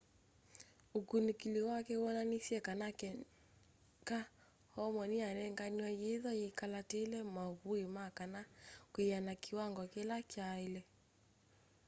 ukunikili wake woonanisye kana keka hormone niyanenganiwe yithwa yakalaatile mavui ma kana kwiana kiwango kila kyaile